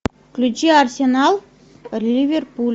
включи арсенал ливерпуль